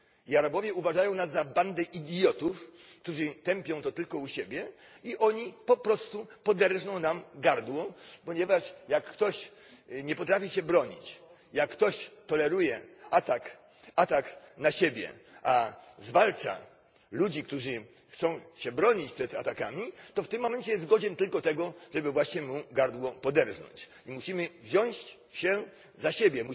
Arabowie uważają nas za bandę idiotów, którzy tępią to tylko u siebie, i oni po prostu poderżną nam gardło, ponieważ jak ktoś nie potrafi się bronić, jak ktoś toleruje atak na siebie, a zwalcza ludzi, którzy chcą się bronić przed atakami, to w tym momencie jest godzien tylko tego, żeby właśnie mu gardło poderżnąć. Musimy wziąć się za siebie,